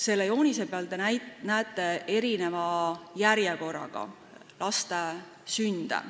Selle joonise pealt te näete erineva sünnijärjekorraga laste sündide arvu.